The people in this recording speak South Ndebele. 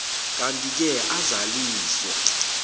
kantike azaliswa